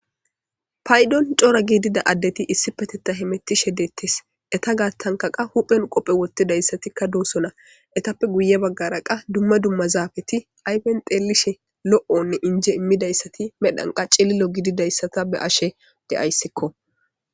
Payidon coora gidida adeti issipetethan hemetishe de'etes ita garisanka qa ba huphen qophe woxidies do'sona etape guye bagara qa duma duma zapeti qa ayipen xelishin lo'one inje imidays medhan qa cililo gididaysa de'ayisko